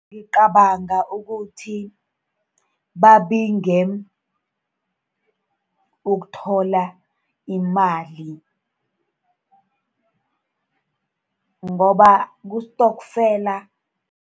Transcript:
Ngicabanga ukuthi babinge ukuthola iimali, ngoba kustokfela.